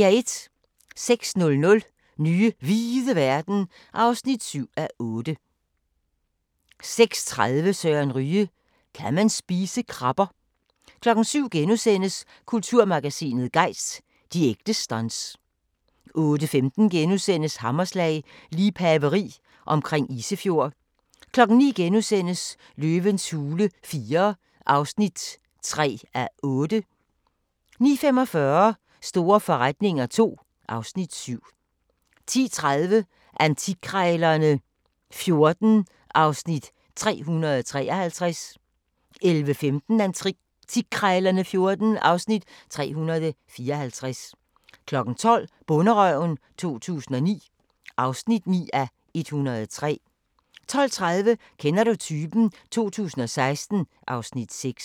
06:00: Nye hvide verden (7:8) 06:30: Søren Ryge: Kan man spise krabber? 07:00: Kulturmagasinet Gejst: De ægte stunts * 08:15: Hammerslag - liebhaveri omkring Isefjord * 09:00: Løvens hule IV (3:8)* 09:45: Store forretninger II (Afs. 7) 10:30: Antikkrejlerne XIV (Afs. 353) 11:15: Antikkrejlerne XIV (Afs. 354) 12:00: Bonderøven 2009 (9:103) 12:30: Kender du typen? 2016 (Afs. 6)